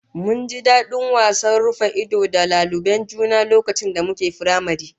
Mun ji dadin wasan rufa-ido da laluben juna lokacin da muke firamare